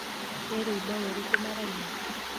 Nĩ rwĩmbo rũrĩkũ maraina?